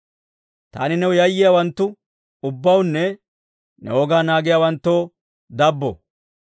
Taani new yayyiyaawanttu ubbawunne ne wogaa naagiyaawanttoo dabbo.